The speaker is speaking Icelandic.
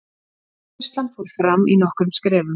útfærslan fór fram í nokkrum skrefum